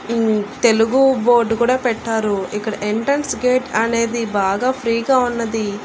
ఉమ్ Telugu board కూడా పెట్టారు ఇక్కడ ఎంట్రెన్స్ గేట్ అనేది బాగా ఫ్రీగా ఉన్నది.